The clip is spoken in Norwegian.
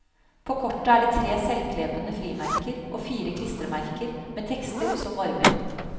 På kortet er det tre selvklebende frimerker og fire klistremerker med tekster som varmer.